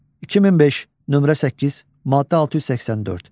2005, nömrə 8, maddə 684.